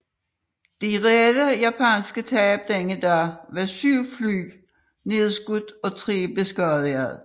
De reelle japanske tab denne dag var syv fly nedskudt og tre beskadigede